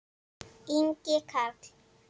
Ingi Karl.